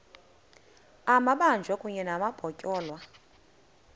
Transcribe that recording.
amabanjwa kunye nabatyholwa